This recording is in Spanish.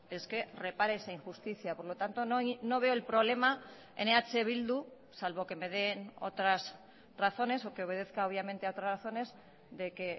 es que repare esa injusticia por lo tanto no veo el problema en eh bildu salvo que me den otras razones o que obedezca obviamente a otras razones de que